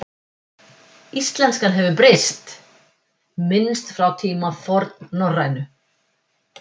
Íslenska hefur breyst minnst frá tíma fornnorrænu.